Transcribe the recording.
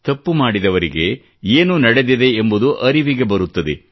ತಪ್ಪು ಮಾಡಿದವರಿಗೆ ಏನು ನಡೆದಿದೆ ಎಂಬುದು ಅರಿವಿಗೆ ಬರುತ್ತದೆ